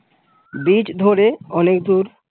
beach ধরে অনেকদুর ।